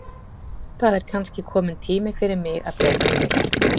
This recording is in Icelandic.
Það er kannski kominn tími fyrir mig að breyta til.